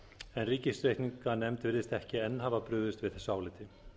en ríkisreikningsnefnd virðist ekki enn hafa brugðist við þessu áliti